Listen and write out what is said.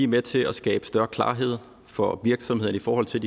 med til at skabe større klarhed for virksomhederne i forhold til